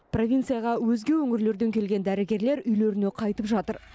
провинцияға өзге өңірлерден келген дәрігерлер үйлеріне қайтып жатыр